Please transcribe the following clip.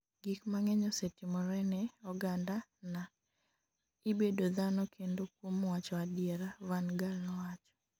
gik mang'eny osetimore ne oganda na ,ibedo dhano kendo kuom wacho adiera,'Van Gaal nowacho